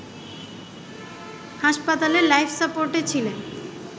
হাসপাতালে লাইফ সাপোর্টে ছিলেন